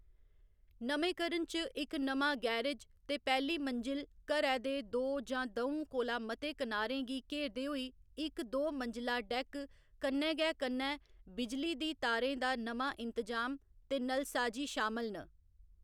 नमेंकरन च इक नमां गैरेज ते पैह्‌ली मंजिल, घरै दे दो जां द'ऊं कोला मते किनारें गी घेरदे होई इक दो मंजिला डैक्क, कन्नै गै कन्नै बिजली दी तारें दा नमां इंतजाम ते नलसाजी शामल न।